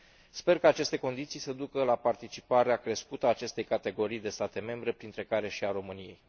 Sper ca aceste condiții să ducă la participarea crescută a acestei categorii de state membre, printre care și a României.